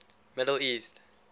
middle east